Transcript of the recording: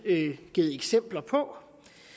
givet eksempler på